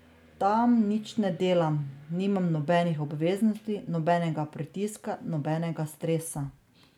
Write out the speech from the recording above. Tam nič ne delam, nimam nobenih obveznosti, nobenega pritiska, nobenega stresa.